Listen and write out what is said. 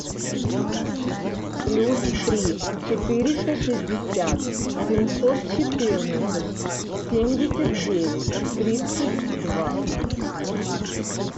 плюс три четыреста шестьдесят семьсот четырнадцать семьдесят девять тридцать два